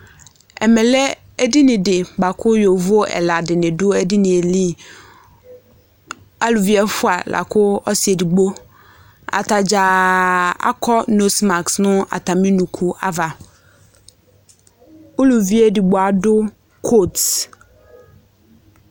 ɛmelɛ ɛdinidi boaku yovo ɛlɑ dini du ɛdinili ɑluvi ɛfua ku ɔsiedigbo ɑtadza ɑkɔmislak nu ɑtamiunukuava uluvi ɛdigbo ɑdu kot